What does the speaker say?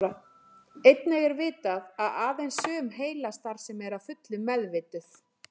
Einnig er vitað að aðeins sum heilastarfsemi er að fullu meðvituð.